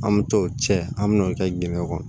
An bɛ t'o cɛ an mɛ n'o kɛ dingɛn kɔnɔ